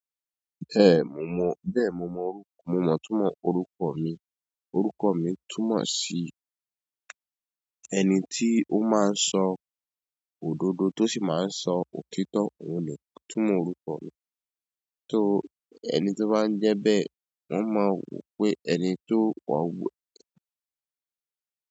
Eh, mo mọ, bẹ́ẹ̀ mo mọ orú, mo mọ̀ túmọ̀ orúkọ ọ̀ mi. Orúkọ mi túmọ̀ sí ẹni tí ó máa ń sọ òdodo tó sì ma ń sọ òtítọ́, òun nì túmọ̀ orúkọ mi. So ẹni tó bá ń jẹ́ bẹ́ẹ̀, wọ́n ma wò pé ẹni tí ò gbọ́ ń.